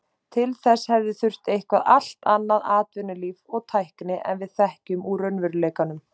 Til þess hefði þurft eitthvert allt annað atvinnulíf og tækni en við þekkjum úr raunveruleikanum.